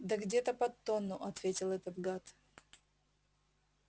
да где-то под тонну ответил этот гад